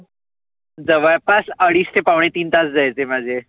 जवळ पास अडीच ते पावने तीन तास जायचे माझे.